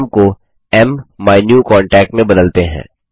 नाम को माइन्यूकांटैक्ट में बदलते हैं